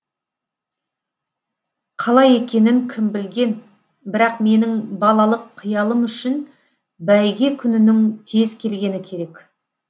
қалай екенін кім білген бірақ менің балалық қиялым үшін бәйге күнінің тез келгені керек